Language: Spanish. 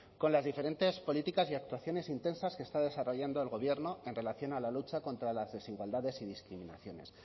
con las diferentes políticas y actuaciones intensas que está desarrollando el gobierno en relación a la lucha contra las desigualdades y discriminaciones